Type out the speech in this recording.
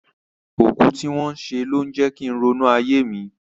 Òkú tí wọ́n ṣe ló ń jẹ kín ronú ayé mi.